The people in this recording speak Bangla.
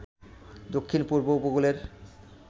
দক্ষিণ পূর্ব উপকূলের